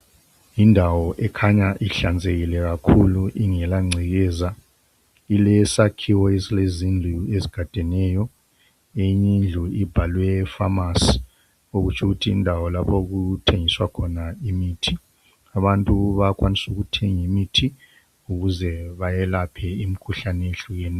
Yindawo ekhanya inhlanzekile kakhulu ingela ngcekeza ilesakhiwo esilezindlu ezigadeneyo eyinye indlu ibhalwe pharmacy okutsho ukuthi yindawo lapho okuthengiswa khona imithi. Abantu bayakwanisa ukuthenga imithi ukuze bayelaphe imkhuhlane ehlukeneyo